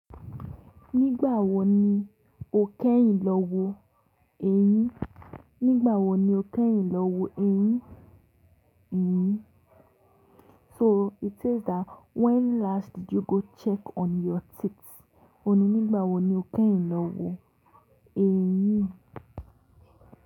Nígbà wo ni o kẹ́yìn lọ wo ẹyín? Nígbà wo ni o kẹ́yìn lọ wo ẹyín? Ehn. So it says that when last did you go check on your teeth? Òní nígbà wo ni o kẹ́yìn lọ wo ẹyín?